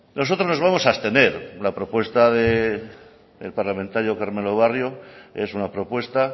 nosotros nos vamos a abstener en la propuesta del parlamentario carmelo barrio es una propuesta